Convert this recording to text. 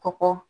Kɔkɔ